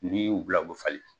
N'i yi u bila u bɛ falen.